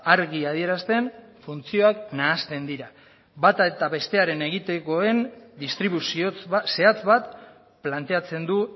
argi adierazten funtzioak nahasten dira bata eta besteen egitekoen distribuzio zehatz bat planteatzen du